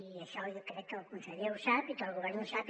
i això jo crec que el conseller ho sap i que el govern ho sap